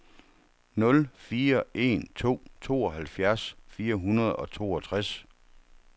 nul fire en to tooghalvfjerds fire hundrede og toogtres